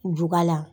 Juga la